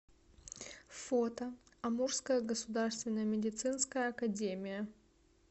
фото амурская государственная медицинская академия